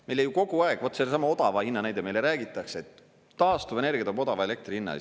Meile ju kogu aeg, vot sellesama odava hinna näide, meile räägitakse, et taastuvenergia toob odava elektri hinna.